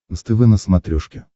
нств на смотрешке